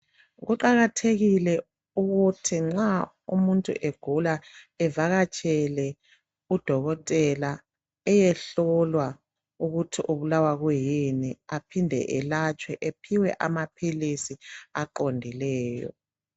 Kuqakathekile ukuthi nxa umuntu agula evakatshele kudokotela eyehlolwa ukuthi ubulawa yini aphinde elatshwe ephiwe amaphilisi eqondileyo.